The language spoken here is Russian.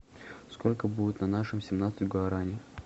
сколько будет на нашем семнадцать гуарани